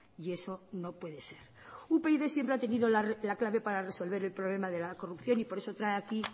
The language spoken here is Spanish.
y eso no puede ser upyd siempre ha tenido la clave para resolver el problema de la corrupción y por eso trae aquí